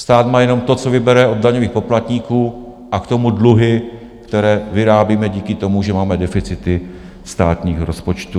Stát má jenom to, co vybere od daňových poplatníků, a k tomu dluhy, které vyrábíme díky tomu, že máme deficity státního rozpočtu.